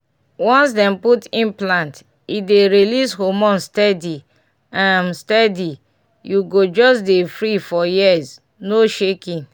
once dem put implant e dey release hormone steady um steady u go just dey free for years no shaking!